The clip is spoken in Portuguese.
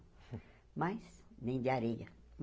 Mas nem de areia.